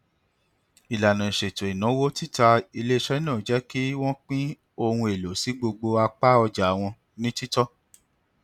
ìlànà ìṣètò ináwó tita iléiṣẹ náà jẹ kí wọn pín ohun èlò sí gbogbo apá ọja wọn ní títọ